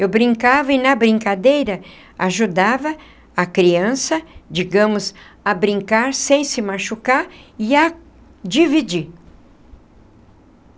Eu brincava e na brincadeira ajudava a criança, digamos, a brincar sem se machucar e a dividir.